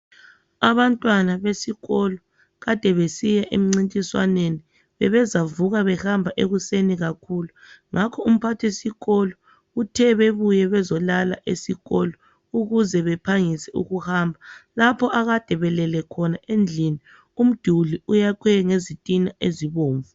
Abantwana besikolo ade besiyemncintiswaneni bebezavuka behamba ekuseni kakhulu. Ngakho umphathisikolo Uthe bebuye bezolala esikolo ukuze beohangise ukuhamba. Lapho ade belele khona endlini umduli uyakhwe ngezitina ezibomvu